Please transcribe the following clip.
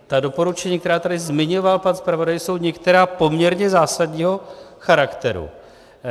Ta doporučení, která tady zmiňoval pan zpravodaj, jsou některá poměrně zásadního charakteru.